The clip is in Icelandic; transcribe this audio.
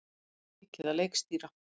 Langar mikið að leikstýra